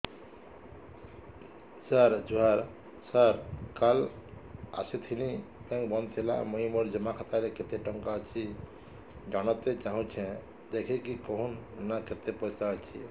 ସାର ଜୁହାର ସାର କାଲ ଆସିଥିନି ବେଙ୍କ ବନ୍ଦ ଥିଲା ମୁଇଁ ମୋର ଜମା ଖାତାରେ କେତେ ଟଙ୍କା ଅଛି ଜାଣତେ ଚାହୁଁଛେ ଦେଖିକି କହୁନ ନା କେତ ପଇସା ଅଛି